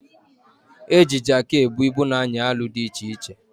Eji Jaakị ebu ibu na anyị alụ dị iche iche